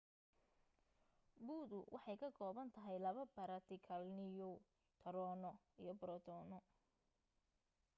bu'du waxay ka koobantahay laba baartikal-niyu taroono iyo borotoono